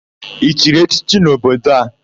I chiri echichi n'obodo a?